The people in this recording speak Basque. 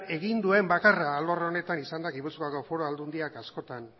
egin duen bakarra alor honetan izan da gipuzkoako foru aldundia askotan